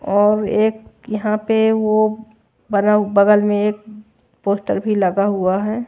और एक यहां पे वो बगल में एक पोस्टर भी लगा हुआ है।